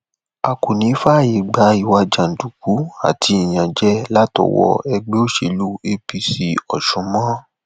a kò ní í fààyè gba ìwà jàǹdùkú àti ìyànjẹ látọwọ ẹgbẹ òṣèlú apc ọsùn mọ